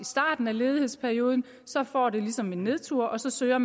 starten af ledighedsperioden så får det ligesom en nedtur og så søger